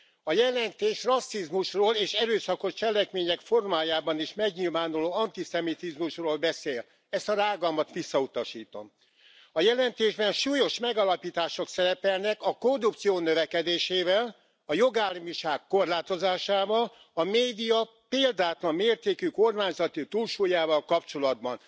A jelentés rasszizmusról és erőszakos cselekmények formájában is megnyilvánuló antiszemitizmusról beszél. Ezt a rágalmat visszautasítom. A jelentésben súlyos megállapítások szerepelnek a korrupció növekedésével, a jogállamiság korlátozásával, a média példátlan mértékű kormányzati túlsúlyával kapcsolatban.